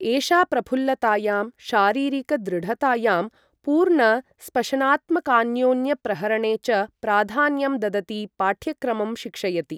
एषा प्रफुल्लतायां शारीरिक दृढतायां, पूर्णस्पशनात्मकान्योन्यप्रहरणे च प्राधान्यं ददती पाठ्यक्रमं शिक्षयति।